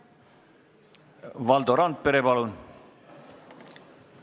Valdo Randpere, palun!